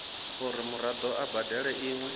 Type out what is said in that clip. uri muraḓo a badele iṅwe